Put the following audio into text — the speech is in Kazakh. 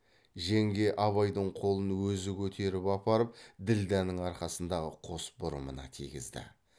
жеңге абайдың қолын өзі көтеріп апарып ділдәнің арқасындағы қос бұрымына тигізді